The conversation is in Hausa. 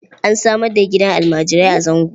An samar da gidan almarai a Zango.